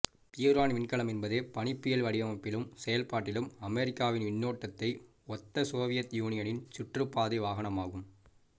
பியூரான் விண்கலம் என்பது பனிப்புயல் வடிவமைப்பிலும் செயல்பாட்டிலும் அமெரிக்காவின் விண்ணோடத்தை ஒத்த சோவியத் யூனியனின் சுற்றுப்பாதை வாகனமாகும்